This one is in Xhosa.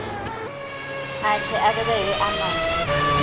akhe abeke emazantsi